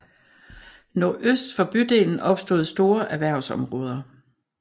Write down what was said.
Nordøst for bydelen opstod store erhvervsområder